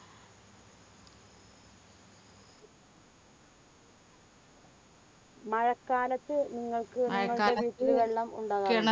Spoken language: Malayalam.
മഴക്കാലത്ത് നിങ്ങക്ക് വെള്ളം ഉണ്ടാകാറുണ്ടോ?